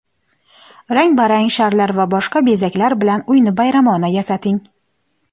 Rang-barang sharlar va boshqa bezaklar bilan uyni bayramona yasating.